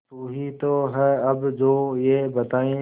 तू ही तो है अब जो ये बताए